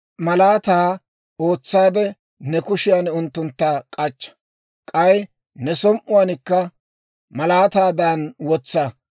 Malaataa ootsaade ne kushiyan unttuntta k'achcha; k'ay ne som"iyaankka malaataadan wotsa.